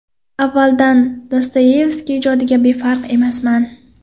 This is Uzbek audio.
Avvaldan Dostoyevskiy ijodiga befarq emasman.